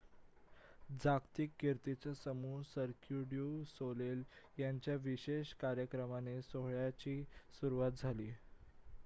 जागतिक कीर्तीचा समूह सर्क्यु ड्यू सोलेल यांच्या विशेष कार्यक्रमाने सोहळ्याची सुरवात झाली